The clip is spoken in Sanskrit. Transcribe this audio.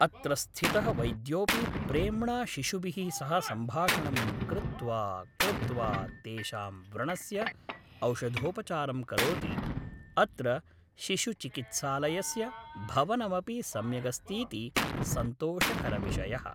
अत्र स्थितः वैद्योपि प्रेम्णा शिशुभिः सह सम्भाषणं कृत्वा कृत्वा तेषां व्रणस्य औषधोपचारं करोति अत्र शिशुचिकित्सालयस्य भवनमपि सम्यगस्तीति सन्तोषकरविषयः